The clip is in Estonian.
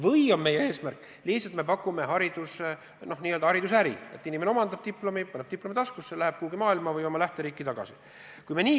Või on meie eesmärk lihtsalt n-ö haridusäri: inimene omandab diplomi, paneb diplomi taskusse ja läheb oma kodumaale tagasi või kuhugi mujale Eestist ära?